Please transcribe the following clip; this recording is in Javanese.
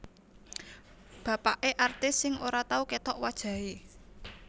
Bapake artis sing ora tau ketok wajahe